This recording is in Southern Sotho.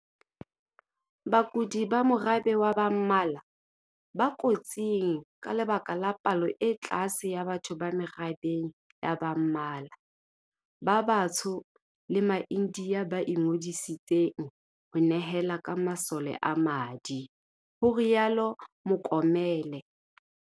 "Bakudi ba morabe wa ba mmala, ba kotsing ka lebaka la palo e tlase ya batho ba merabeng ya ba mmala, ba batsho le ma-India ba ingodiseditseng ho nehela ka masole a madi," ho rialo Mokomele.